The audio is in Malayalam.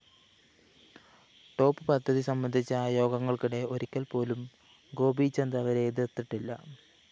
ടോപ്പ്‌ പദ്ധതി സംബന്ധിച്ച യോഗങ്ങള്‍ക്കിടെ ഒരിക്കല്‍പ്പോലും ഗോപീചന്ദ് അവരെ എതിര്‍ത്തിട്ടില്ല